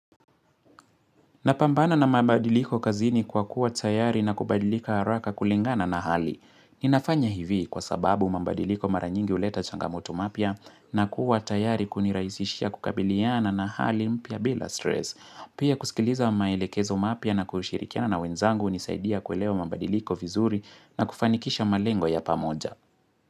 Napambana na mabadiliko kazini kwa kuwa tayari na kubadilika haraka kulingana na hali. Ninafanya hivi kwa sababu mabadiliko mara nyingi huleta changamoto mapya na kuwa tayari kunirahisishia kukabiliana na hali mpya bila stress. Pia kusikiliza maelekezo mapya na kushirikiana na wenzangu hunisaidia kuelewa mabadiliko vizuri na kufanikisha malengo ya pamoja.